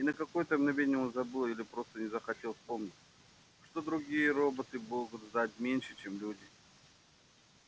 и на какое то мгновение он забыл или просто не захотел вспомнить что другие роботы могут знать меньше чем люди